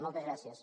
moltes gràcies